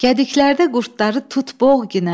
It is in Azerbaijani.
Gədiklərdə qurdları tut boğ ginən.